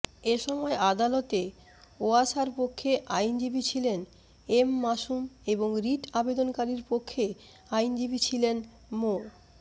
এসময় আদালতে ওয়াসার পক্ষে আইনজীবী ছিলেন এম মাসুম এবং রিট আবেদনকারীপক্ষে আইনজীবী ছিলেন মো